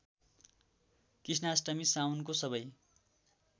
कृष्णाष्टमी साउनको सबै